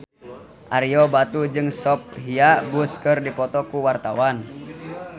Ario Batu jeung Sophia Bush keur dipoto ku wartawan